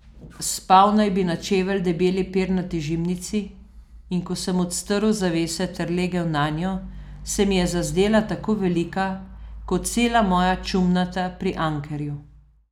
Spal naj bi na čevelj debeli pernati žimnici, in ko sem odstrl zavese ter legel nanjo, se mi je zazdela tako velika kot cela moja čumnata pri Ankerju.